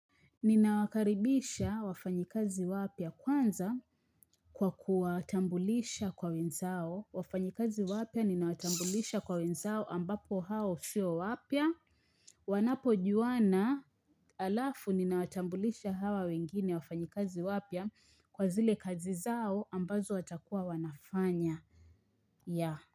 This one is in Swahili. Ninawakaribisha wafanyikazi wapya kwanza kwa kuwatambulisha kwa wenzao. Wafanyikazi wapya ninawatambulisha kwa wenzao ambapo hao sio wapya. Wanapojuana halafu ninawatambulisha hawa wengine wafanyikazi wapya kwa zile kazi zao ambazo watakuwa wanafanya.